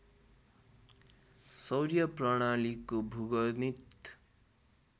सौर्य प्रणालीको भूगणित